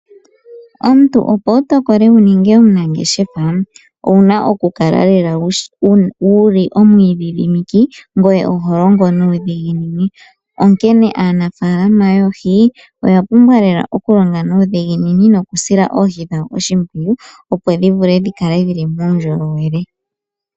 Omuntu opo wu tokole wu ninge omunangeshefa owuna oku kala lela omwiidhidhimiki ngoye oho longo nuudhiginini. Onkene aanafalama yoohi oya pumbwa lela oku longa nuudhiginini noku sila oohi dhawo oshimpwiyu opo dhi vule dhi kale dhili muundjolowele.